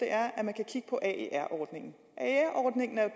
er at man kan kigge på aer ordningen aer ordningen er